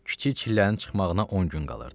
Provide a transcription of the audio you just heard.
Kiçik çillənin çıxmağına 10 gün qalırdı.